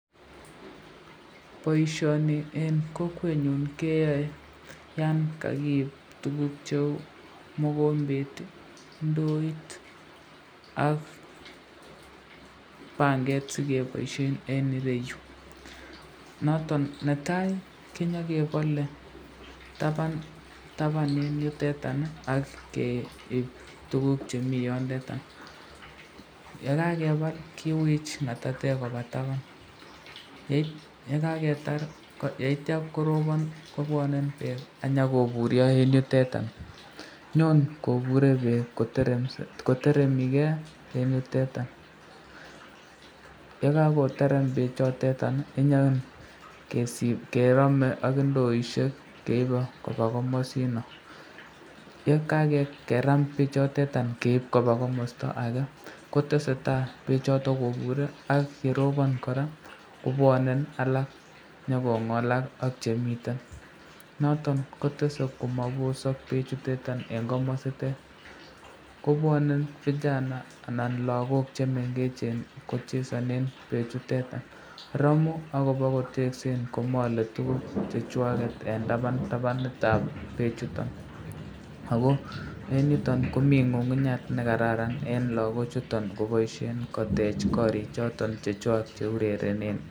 Boisyoni eng kokwenyon koyoe yan kakiib tukuk cheu mokombet, ndoit, ak panget sikeboisyen eng ireyu , noton netai konyekebale taban taban yutetan ak keib tukuk chemi yondeta ,yekakebal kiwich ngatatek koba taban, yeitya koroban kobwane bek akonyokoburyo eng yuteta, nyon kobure bek koteremiken eng yuteta, yekakoterem bek choteta konyekerame ak indoisyek keibe koba komasino, ye kakeram bek choteta keib koba komasta ake ketesetai bek choton kobure ak yeroban koraa kobwane alak, nyokongolak ak chemiten, noton kotesen komabosak bek chutetan eng komasitet, kobwane vijana anan lakok chemengechen kochesanen bek chutetan, Ramu akobokoteksen komale tukuk chechwaket eng taban taban itab bechutan, ako eng yutan komi ngungunyat nekararan eng lakok chuton koboisyen kotech korik choton chechwak cheurerenen.